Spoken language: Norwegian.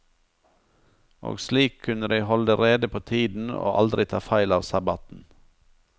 Og slik kunne de holde rede på tiden og aldri ta feil av sabbaten.